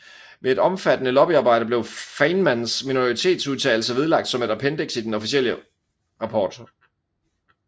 Efter et omfattende lobbyarbejde blev Feynmans minoritetsudtalelse vedlagt som et appendiks til den officielle rapport